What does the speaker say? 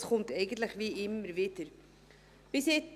Es kommt eigentlich immer wieder dazu.